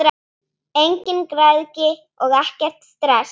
Engin græðgi og ekkert stress!